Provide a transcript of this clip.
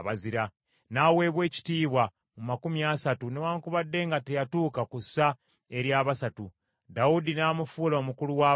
N’aweebwa ekitiibwa mu makumi asatu, newaakubadde nga teyatuuka ku ssa ery’abasatu. Dawudi n’amufuula omukulu w’abambowa.